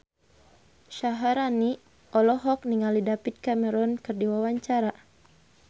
Syaharani olohok ningali David Cameron keur diwawancara